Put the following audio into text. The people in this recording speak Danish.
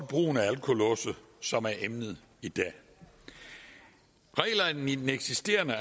brugen af alkolåse som er emnet i dag reglerne i den eksisterende